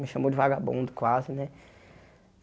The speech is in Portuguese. Me chamou de vagabundo quase, né?